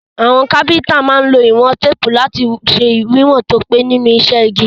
Àwon carpenter má n lo ìwón tape lati se wíwòn to pé nínú isẹ́ igi